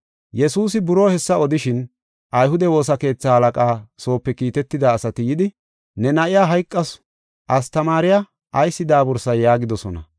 Yesuusi buroo hessa odishin, ayhude woosa keetha halaqaa soope kiitetida asati yidi, “Ne na7iya hayqasu, astamaariya ayis daabursay?” yaagidosona.